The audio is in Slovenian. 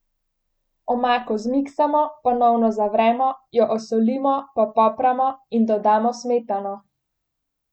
Omako zmiksamo, ponovno zavremo, jo osolimo, popopramo in dodamo smetano.